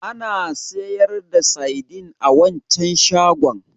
Ana sayar da saidin a waccan shagon?